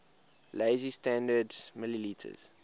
lazy standard ml